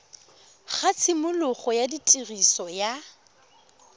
ga tshimologo ya tiriso ya